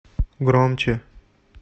громче